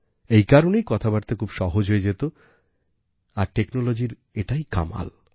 এই কারণেই কথাবার্তা খুব সহজ হয়ে যেত আর technologyর এটাই কামাল